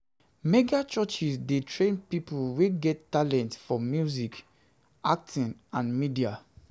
Mega churches de train pipo wey get talent for music, acting and media